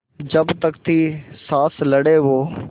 जब तक थी साँस लड़े वो